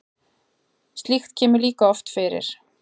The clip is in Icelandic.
slíkt kemur líka oft fyrir